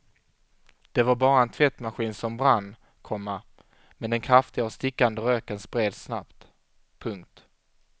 Det var bara en tvättmaskin som brann, komma men den kraftiga och stickande röken spreds snabbt. punkt